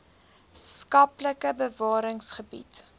skaplike bewarings gebied